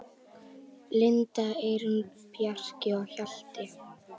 Linda, Eyrún, Bjarki og Hjalti.